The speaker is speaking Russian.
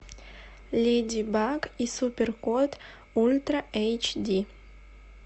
леди баг и супер кот ультра эйч ди